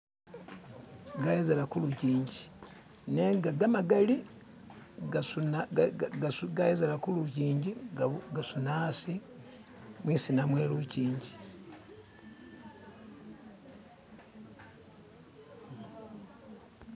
Gayezela kulujinji nenga gamagali gasuna gayezela kulujinji gasuna hasi mwisina mwelujinji